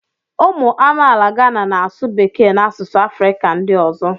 ụmụ amaala Gana na-asụ Bekee na asụsụ Afrịka ndị ọzọ